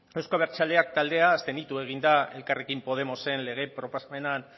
euzko abertzaleak taldea abstenitu egin da elkarrekin podemosen lege proposamen